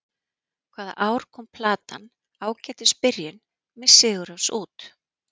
Hvaða ár kom platan Ágætis byrjun, með Sigurrós út?